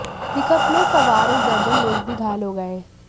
pickup में सवार एक दर्जन लोग भी घायल हो गए